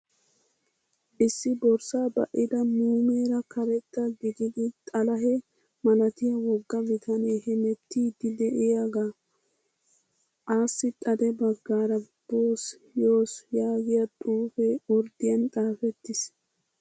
Issi borssa ba'ida muumeera karetta gididi xalahe malatiyaa wogga bitanee hemettiiddi de'iyaagaa. Assi xade baggaara boss yoss yaagiyaa xuupee orddiyan xaapettis.